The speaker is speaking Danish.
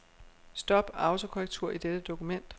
Stop autokorrektur i dette dokument.